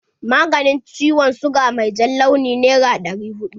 Maganin ciwon siga mai jan launi nera ɗari huɗu.